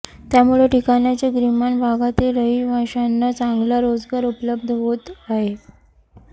त्यामुळे या ठिकाणच्या ग्रामीण भागातील रहिवाशांना चांगला रोजगार उपलब्ध होत आहे